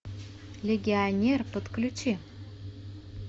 легионер подключи